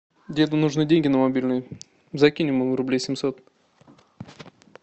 деду нужны деньги на мобильный закинь ему рублей семьсот